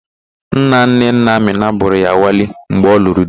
Nnanne nna Amịna bụrụ ya wali mgbe ọ lụrụ di.